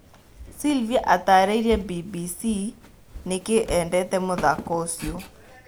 Silvia atarĩirie Mbimbisi nĩkĩĩ endete mũthako ũcio.